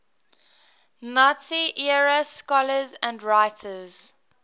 nazi era scholars and writers